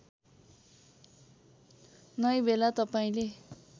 नै बेला तपाईँले